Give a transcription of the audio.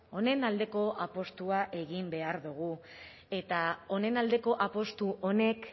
honen aldeko apustua egin behar dugu eta honen aldeko apustu honek